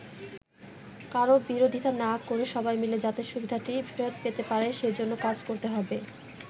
কারো বিরোধিতা না করে সবাই মিলে যাতে সুবিধাটি ফেরত পেতে পারে সেজন্য কাজ করতে হবে।